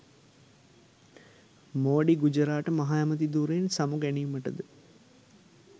මෝඩි ගුජරාට මහ ඇමැති ධුරයෙන් සමු ගැනීමට ද